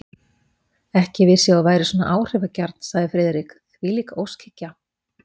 Ekki vissi ég að þú værir svona áhrifagjarn, sagði Friðrik, þvílík óskhyggja!